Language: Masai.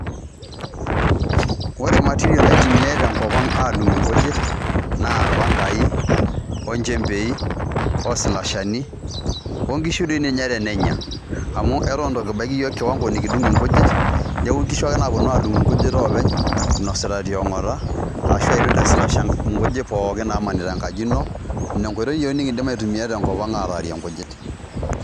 ore materials naitumiae tenkop ang adungie inkujit naa irpankai ,onjembei ,oslashani onkishu dii ninye tenenya amu eton itu kibaiki yiook kiwango nikidung inkujit niaku inkishu ake naponu adung inkujit oopeny inosita tiongota ashu idung teslasha nkujit pookin namanita enkaji ino. ine enkoitoi iyiook nikindim aitumia tenkopang atarie inkujit.